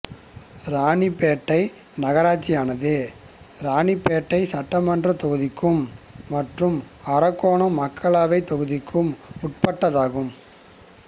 இராணிப்பேட்டை நகராட்சியானது இராணிப்பேட்டை சட்டமன்றத் தொகுதிக்கும் மற்றும் அரக்கோணம் மக்களவைத் தொகுதிக்கு உட்பட்டதாகும்